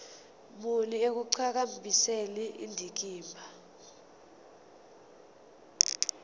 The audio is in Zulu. muni ekuqhakambiseni indikimba